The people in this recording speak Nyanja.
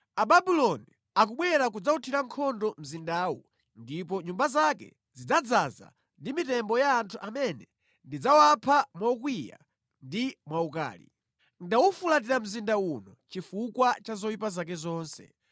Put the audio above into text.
Ababuloni akubwera kudzawuthira nkhondo mzindawu ndipo nyumba zake zidzadzaza ndi mitembo ya anthu amene ndidzawapha mokwiya ndi mwaukali. Ndawufulatira mzinda uno chifukwa cha zoyipa zake zonse.